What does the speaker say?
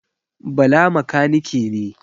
Bala makanike ne.